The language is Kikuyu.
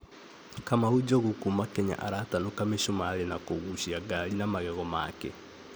‘Kamau Njogu’ kuuma Kenya, aratanuka mi͂sumari͂ na ku͂guuci͂a gari na magego make.